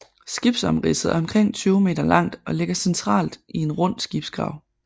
Skibsomridset er omkring 20 meter langt og ligger centralt i en rund skibsgrav